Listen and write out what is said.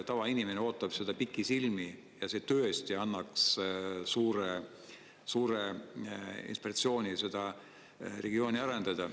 Tavainimene ootab seda pikisilmi ja see tõesti ja annaks suure inspiratsiooni seda regiooni arendada.